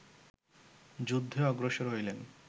যুদ্ধে অগ্রসর হইলেন